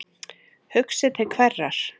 Hugsi til hverrar?